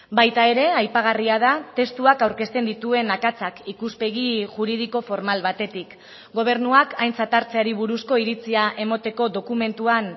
baita ere aipagarria da testuak aurkezten dituen akatsak ikuspegi juridiko formal batetik gobernuak aintzat hartzeari buruzko iritzia emateko dokumentuan